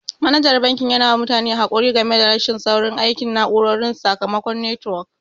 Manajan banki yana ba mutane haƙuri game da rashin saurin aikin na'urorin su sakamakon netiwok.